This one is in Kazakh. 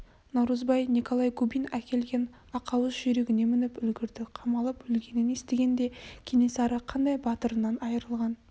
наурызбай николай губин әкелген ақауыз жүйрігіне мініп үлгірді қамалып өлгенін естігенде кенесары қандай батырынан айырылған